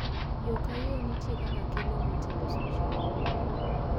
yoo ka yoo nitie kaka kelo mit e loso chiemo